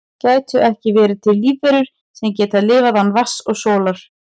gætu ekki verið til lífverur sem geta lifað án vatns og sólar